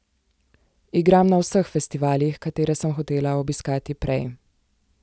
Igram na vseh festivalih, katere sem hotela obiskati prej.